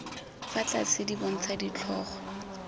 fa tlase di bontsha ditlhogo